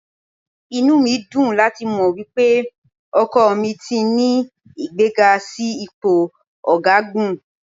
Inú mi dùn láti mọ̀ wípé ọkọ mi ti ní ìgbéga sí ipò ọ̀gágun.